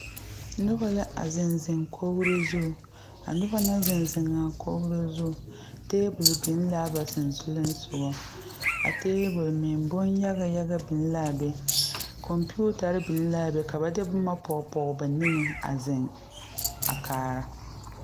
Noba la a zeŋ zeŋ kogre zu. A noba naŋ zeŋ zeŋ a kogre zu, tabul biŋ la a ba susugliŋsɔgo. A tabul meŋ, boŋ yaga yaga biŋ la a be. Komputare biŋ la a be. Ka ba de boma poɔ poɔ ba niŋe a zeŋ a kaara.